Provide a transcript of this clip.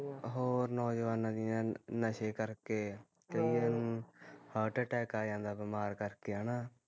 ਹੋਰ ਨੋਜਵਾਨਾਂ ਦੀਆ, ਨਸ਼ੇ ਕਰਕੇ, ਕਈਆ ਨੂੰ heart attack ਆ ਜਾਂਦਾ ਬਿਮਾਰ ਕਰਕੇ ਹੈਨਾ